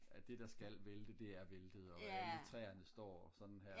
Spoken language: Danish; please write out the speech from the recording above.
at det der skal vælte det er væltet og alle træerne de står sådan her